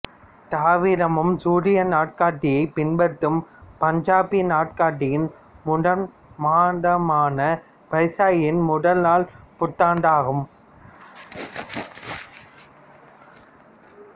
தவிரவும் சூரிய நாட்காட்டியைப் பின்பற்றும் பஞ்சாபி நாட்காட்டியின் முதல் மாதமான வைசாக்கியின் முதல் நாள் புத்தாண்டு ஆகும்